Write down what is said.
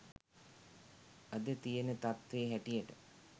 අද තියන තත්වේ හැටියට